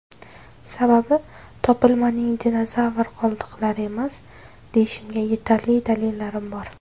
Sababi, topilmaning dinozavr qoldiqlari emas, deyishimga yetarli dalillarim bor.